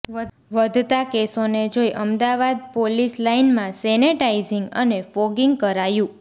વધતા કેસોને જોઈ અમદાવાદ પોલીસ લાઈનમાં સેનેટાઈઝિંગ અને ફોગિંગ કરાયું